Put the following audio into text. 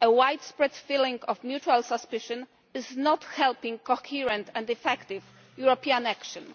a widespread feeling of mutual suspicion is not helping coherent and effective European action.